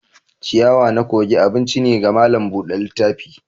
ciyawa na kogi abinci ne ga malam Bude littafi.